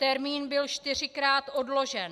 Termín byl čtyřikrát odložen.